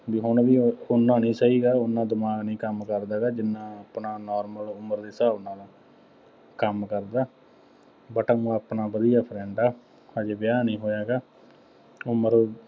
ਬਈ ਹੁਣ ਵੀ ਉਹ ਉੱਨਾ ਨਹੀਂ ਸਹੀ ਹੈਗਾ, ਉੱਨਾ ਦਿਮਾਗ ਨਹੀਂ ਕੰਮ ਕਰਦਾ ਇਹਦਾ ਜਿੰਨਾ ਆਪਣਾ normal ਉਮਰ ਦੇ ਹਿਸਾਬ ਨਾਲ ਕੰਮ ਕਰਦਾ। but ਊਂ ਆਪਣਾ ਵਧੀਆ friend ਆ, ਹਜੇ ਵਿਆਹ ਨਹੀਂ ਹੋਇਆ ਹੈਗਾ, ਉਮਰ ਉਹਦੀ